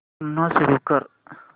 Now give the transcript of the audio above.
पुन्हा सुरू कर